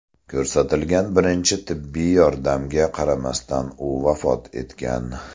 Ko‘rsatilgan birinchi tibbiy yordamga qaramasdan, u vafot etgan.